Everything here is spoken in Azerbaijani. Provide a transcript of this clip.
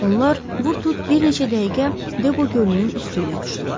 Onlar vurtut bir neçə dəqiqə Debo gölünün üstü ilə uçdular.